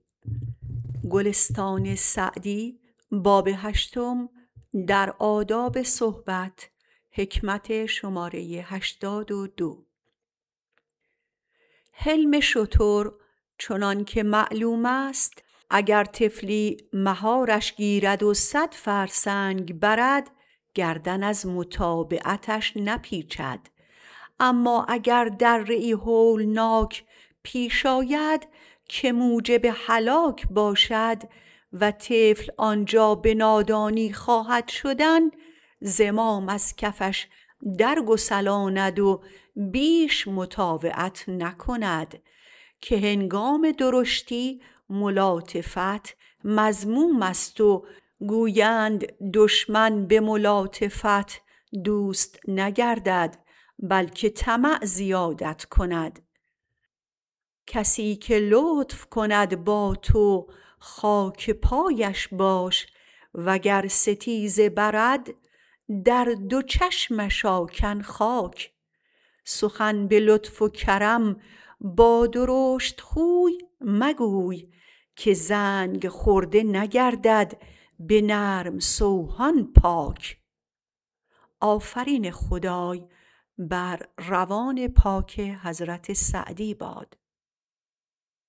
حلم شتر چنان که معلوم است اگر طفلی مهارش گیرد و صد فرسنگ برد گردن از متابعتش نپیچد اما اگر دره ای هولناک پیش آید که موجب هلاک باشد و طفل آنجا به نادانی خواهد شدن زمام از کفش در گسلاند و بیش مطاوعت نکند که هنگام درشتی ملاطفت مذموم است و گویند دشمن به ملاطفت دوست نگردد بلکه طمع زیادت کند کسی که لطف کند با تو خاک پایش باش وگر ستیزه برد در دو چشمش آکن خاک سخن به لطف و کرم با درشتخوی مگوی که زنگ خورده نگردد به نرم سوهان پاک